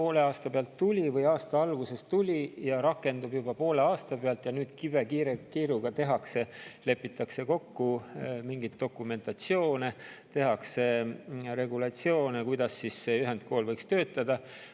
Miks see tuli aasta alguses ja rakendub juba poole aasta pealt ning nüüd kibekiirelt, kiiruga lepitakse kokku mingit dokumentatsiooni, tehakse regulatsioone, kuidas see ühendkool võiks töötada?